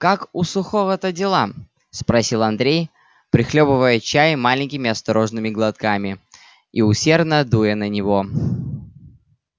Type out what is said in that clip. как у сухого-то дела спросил андрей прихлёбывая чай маленькими осторожными глотками и усердно дуя на него